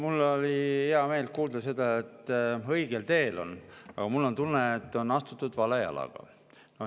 Mul oli hea meel kuulda seda, et ollakse õigel teel, aga mul on tunne, et on astutud vale jalaga.